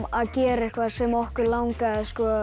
að gera eitthvað sem okkur langaði